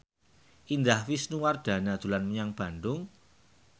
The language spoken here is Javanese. Indah Wisnuwardana dolan menyang Bandung